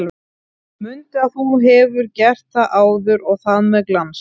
Mundu að þú hefur gert það áður og það með glans!